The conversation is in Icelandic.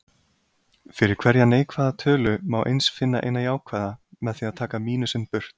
Fyrir hverja neikvæða tölu má eins finna eina jákvæða, með því að taka mínusinn burt.